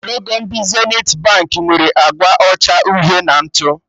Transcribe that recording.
Logo ndị Zenithi Baankị nwere agba ọcha, uhie na ntụ